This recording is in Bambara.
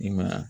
I ma ye wa